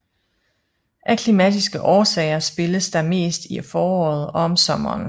Af klimatiske årsager spilles der mest i foråret og om sommeren